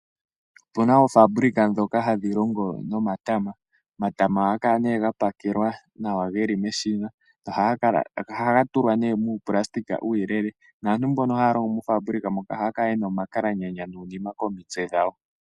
Opu na oofabuluka ndhoka hadhi longo nomatama . Omatama ohaga kala ga pakelwa nawa ge li meshina . Ohaga tulwa nee nuunayilona uuyelele naantu mbono haya longo moofabulika moka ohaya kala ye na omakalaganya nuunima komitse dhawo.